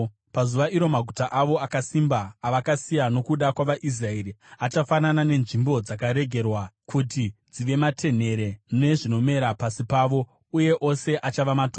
Pazuva iro maguta avo akasimba avakasiya nokuda kwavaIsraeri, achafanana nenzvimbo dzakaregerwa kuti dzive matenhere nezvinomera pasi pavo. Uye ose achava matongo.